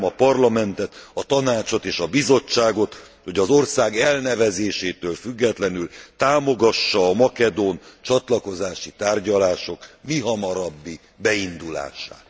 Kérem a Parlamentet, a Tanácsot és a Bizottságot, hogy az ország elnevezésétől függetlenül támogassa a makedón csatlakozási tárgyalások mihamarabbi beindulását.